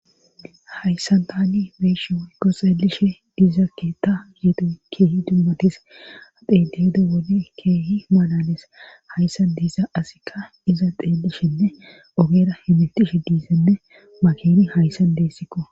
Hayssantaani beeshe workko xeelishe diza keetta yeede keehi dummatesxeediyede wode keehi maalales hayssan diisa asikka iza xeelishenne ogera himitishe diisenne makeni hayssan deessikko.